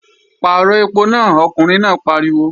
Pàrọ̀ ẹpo náà, ọkùnrin náà pariwo!